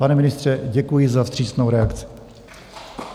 Pane ministře, děkuji za vstřícnou reakci.